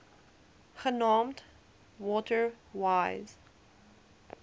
genaamd water wise